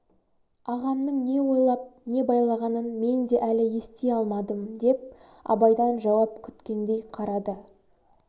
ағамның не ойлап неге байлағанын мен де әлі ести алмадым деп абайдан жауап күткендей қарады